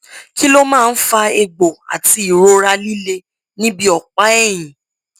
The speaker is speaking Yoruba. kí ló máa ń fa egbò àti ìrora líle níbi ọpáẹyìn